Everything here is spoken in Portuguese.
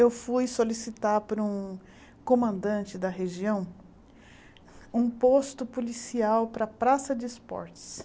Eu fui solicitar para um comandante da região um posto policial para a praça de esportes.